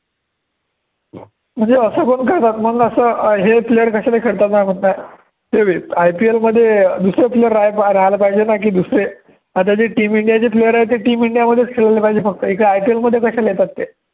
म्हणजे सर्व हे player कसे काय IPL मध्ये अं दुसरे player राहायला पाहिजे ना की दुसरे आता team इंडियाचे player आहे ते team इंडियामध्येच खेळले पाहिजे फक्त इथे IPL मध्ये कशाला येतात ते